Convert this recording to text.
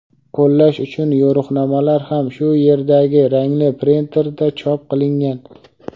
qo‘llash uchun yo‘riqnomalar ham shu yerdagi rangli printerda chop qilingan.